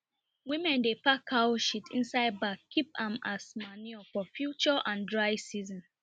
women dey pack cow shit inside bag keep am as manure for future and dry season